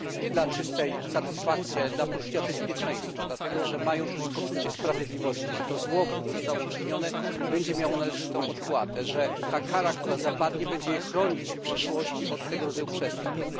Nie dla czystej satysfakcji, ale dla poczucia bezpieczeństwa, dlatego że mają też i poczucie sprawiedliwości, że to zło, które zostało uczynione, będzie miało należytą odpłatę, że ta kara, która zapadnie, będzie je chronić w przyszłości od tego rodzaju przestępstw.